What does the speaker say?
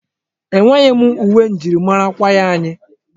Enweghị m uwe njirimara ndi kwaya anyị.